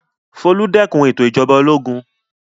Folú dẹ́kun ètò ìjọba ológun.